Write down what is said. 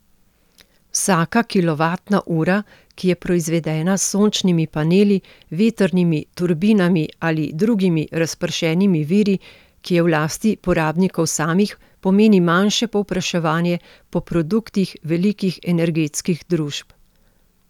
Vsaka kilovatna ura, ki je proizvedena s sončnimi paneli, vetrnimi turbinami ali drugimi razpršenimi viri, ki je v lasti porabnikov samih, pomeni manjše povpraševanje po produktih velikih energetskih družb.